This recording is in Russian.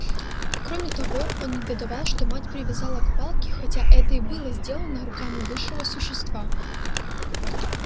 кроме того он негодовал что мать привязала к палке хотя это и было сделано руками высшего существа